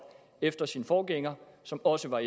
efter sin forgænger som også var